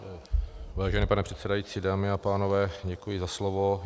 Vážený pane předsedající, dámy a pánové, děkuji za slovo.